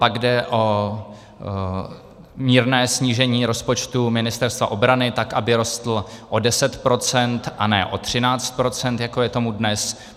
Pak jde o mírné snížení rozpočtu Ministerstva obrany, tak aby rostl o 10 %, a ne o 13 %, jako je tomu dnes.